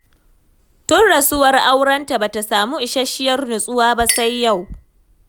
Tun mutuwar aurenta ba ta samu isasshiyar nutsuwa ba sai yau